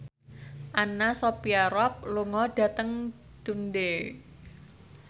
Anna Sophia Robb lunga dhateng Dundee